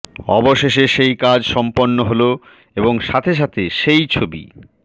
অবশেষে সেই কাজ সম্পন্ন হল এবং সাথে সাথে সেই ছবি